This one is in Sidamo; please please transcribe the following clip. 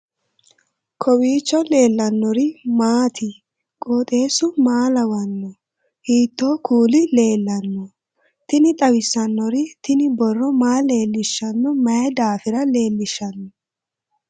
kowiicho leellannori maati ? qooxeessu maa lawaanno ? hiitoo kuuli leellanno ? tini xawissannori tini brro maa leellishshanno mayi dafira leellishshanno